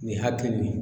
Nin hakili nin